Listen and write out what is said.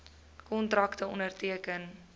kontrakte onderteken